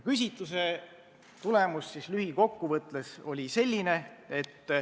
Tulemus oli lühikokkuvõttes selline.